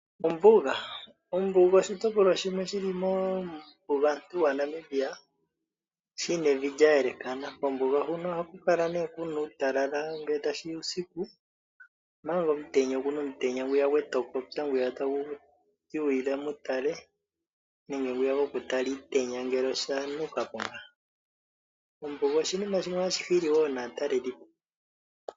Ombuga, ombuga oshiyopolwa shimwe shili muumbugantu waNamibia shina evi lyayelekana, mombuga muno ohamukala ne muna uutalala ngele tashiya uusiku manga omutenya okuna omutenya ngwiya gwetopopya ngwiya takutiwa ila mutale nenge ngwiya gokutala iitenya ngele oshantuka po ngaa. Ombuga oshinima shimwe hatyi hili wo naataleli po.